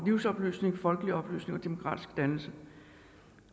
livsoplysning folkeoplysning og demokratisk dannelse